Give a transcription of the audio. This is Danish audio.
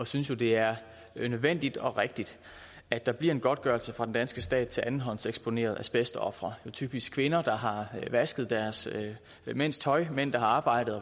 synes jo det er nødvendigt og rigtigt at der bliver en godtgørelse fra den danske stat til andenhåndseksponerede asbestofre er typisk kvinder der har vasket deres mænds tøj mænd der har arbejdet